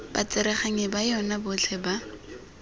batsereganyi ba yona botlhe ba